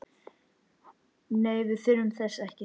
Nei, við þurfum þess ekki.